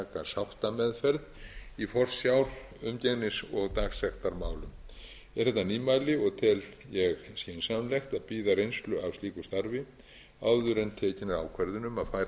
sáttameðferð í forsjár umgengnis og dagsektarmálum er þetta nýmæli og tel ég skynsamlegt að bíða reynslu af slíku starfi áður en tekin er ákvörðun um að færa dómara heimild um sameiginlega